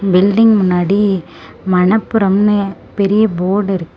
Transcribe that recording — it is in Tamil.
பில்டிங் முன்னாடி மணப்புரம் னு பெரிய போடிருக் --